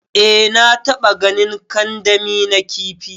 Eh na taba ganin kandami na kifi.